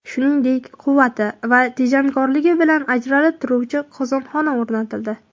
Shuningdek, quvvati va tejamkorligi bilan ajralib turuvchi qozonxona o‘rnatildi.